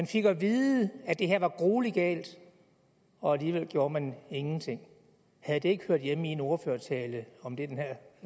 fik at vide at det her var gruelig galt og alligevel gjorde man ingenting havde det ikke hørt hjemme i en ordførertale om den her